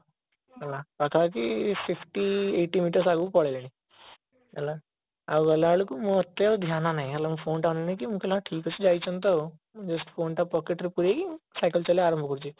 ହେଲା ପାଖାପାଖି fifty eighty meter ଆଗକୁ ପଳେଇଲେଣି ହେଲା ଆଉ ଗଲାବେଳକୁ ମତେ ଆଉ ଧ୍ୟାନ ନାହିଁ ହେଲା ମୁଁ phone ଟା ଅନେଇକି ମୁଁ କହିଲି ହଁ ଠିକ ଅଛି ଯାଇଛନ୍ତି ତ just phone ଟା pocketରେ ପୁରେଇକି cycle ଚଲେଇବା ଆରମ୍ଭ କରୁଛି